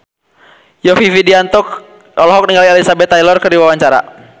Yovie Widianto olohok ningali Elizabeth Taylor keur diwawancara